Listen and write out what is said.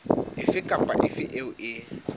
efe kapa efe eo e